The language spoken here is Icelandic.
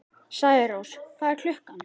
Særós, hvað er klukkan?